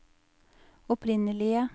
opprinnelige